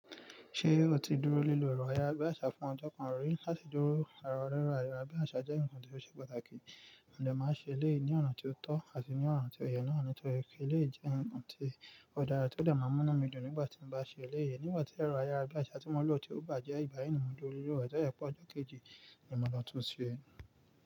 Ṣé o ti dúró nílò ẹ̀rọ ayára bí àṣá fún ọjọ́ kan rí láti dúró àrà rẹ́rọ̀ ayára bí àṣá jẹ́ nǹkan tó ṣe pàtàkì, ọ̀dà máa ṣe ilé ní ọ̀nà tó tọ́ àti ní ọ̀nà tó yẹ náà nítorí pé ilé jẹ́ nǹkan tí ọ̀dà rẹ̀ tó dá máa múná mi dùn nígbà tí mo bá ṣe ilé yìí. Nígbà tí ẹ̀rọ ayára bí àṣá tí mo lò ti wù bá jẹ́ ìbáyí nìmọ̀ ju olúre rẹ̀ tó jẹ́ pọ̀ ọjọ́ kejì ni mo lọ tún un ṣe.